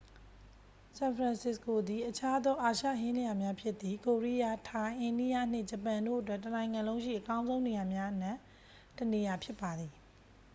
ဆန်ဖရန်စစ္စကိုသည် အခြားသော အာရှဟင်းလျာများဖြစ်သည့် ကိုရီးယား ထိုင်း အိန္ဒိယ နှင့် ဂျပန်တို့အတွက် တစ်နိုင်ငံလုံးရှိ အကောင်းဆုံးနေရာများအနက် တစ်နေရာဖြစ်ပါသည်